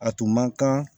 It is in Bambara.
A tun man kan